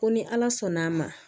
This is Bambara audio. Ko ni ala sɔnn'a ma